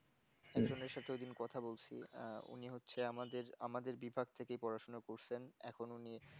family সাথে ঐদিন কথা বলেছি উনি হচ্ছে আমাদের আমাদের বিভাগ থেকে পড়াশোনা করছেন এখন উনি